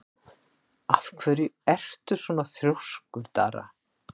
Af hverju ertu svona þrjóskur, Dara?